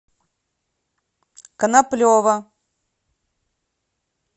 коноплева